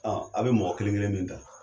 Ɔn, a be mɔgɔ kelen kelen min ta